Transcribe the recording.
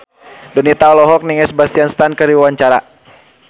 Donita olohok ningali Sebastian Stan keur diwawancara